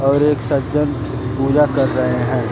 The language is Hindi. और एक सज्जन पूजा कर रहे हैं।